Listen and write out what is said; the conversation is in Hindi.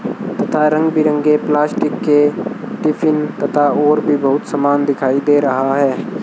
तथा रंग बिरंगे प्लास्टिक के टिफिन तथा और भी बहुत समान दिखाई दे रहा है।